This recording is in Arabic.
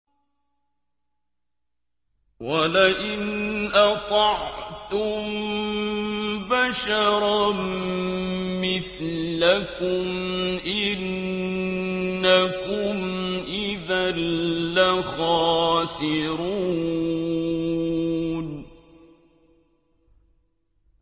وَلَئِنْ أَطَعْتُم بَشَرًا مِّثْلَكُمْ إِنَّكُمْ إِذًا لَّخَاسِرُونَ